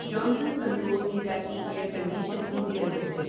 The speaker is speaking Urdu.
Johnson controls Hitachi air condition India limited